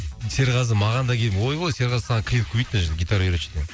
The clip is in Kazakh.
серғазы маған да келіп ойбой серғазы саған клиент көбейді мына жерде гитара үйретші деген